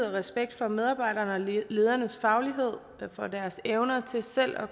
respekt for medarbejdernes og ledernes faglighed og for deres evner til selv at